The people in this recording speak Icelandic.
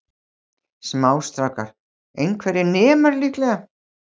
Smástrákar, einhverjir nemar líklega.